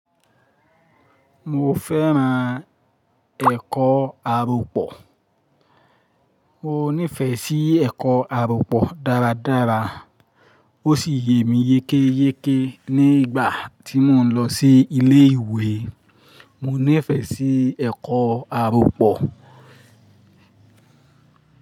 Mo fẹ́ràn ẹ̀kọ́ àrọ̀pọ̀. Mo nífẹ̀ẹ́ sí ẹ̀kọ́ àrọ̀pọ̀ dára dára ó sì yẹ mí yékéyéké nígbà tí mò ń lọ sí ilé ìwé. Mo nífẹ̀ẹ́ sí ẹ̀kọ́ àrọ̀pọ̀